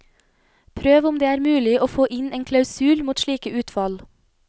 Prøv om det er mulig å få inn en klausul mot slike utfall.